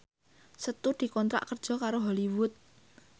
Setu dikontrak kerja karo Hollywood